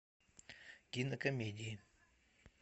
кинокомедии